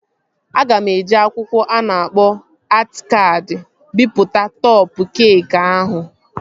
Aga m eji akwụkwọ a na-akpọ atị kaadị bipụta tọpa keekị ahụ